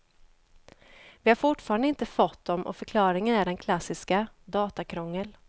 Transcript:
Vi har fortfarande inte fått dem och förklaringen är den klassiska, datakrångel.